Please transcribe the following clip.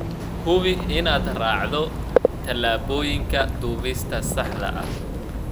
Hubi inaad raacdo talaabooyinka duubista saxda ah.